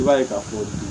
I b'a ye k'a fɔ